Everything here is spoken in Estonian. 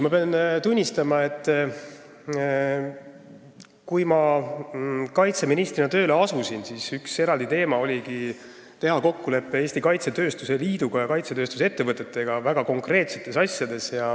Ma pean tunnistama, et kui ma kaitseministrina tööle asusin, siis oligi üks eraldi teema teha kokkulepe Eesti Kaitsetööstuse Liiduga ja kaitsetööstuse ettevõtetega väga konkreetsetes asjades.